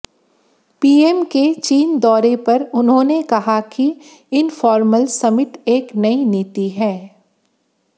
PM के चीन दौरे पर उन्होंने कहा कि इन्फॉर्मल समिट एक नयी नीति है